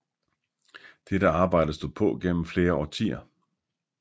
Dette arbejde stod på gennem flere årtier